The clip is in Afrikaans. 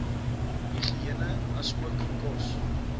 higïene asook kos